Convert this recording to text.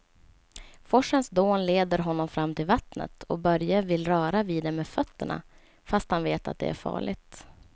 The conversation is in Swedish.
Forsens dån leder honom fram till vattnet och Börje vill röra vid det med fötterna, fast han vet att det är farligt.